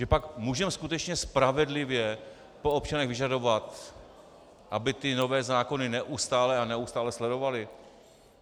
Že pak můžeme skutečně spravedlivě po občanech vyžadovat, aby ty nové zákony neustále a neustále sledovali?